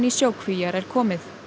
sjókvíar er komið